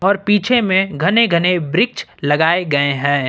और पीछे में घने घने वृक्ष लगाए गए हैं।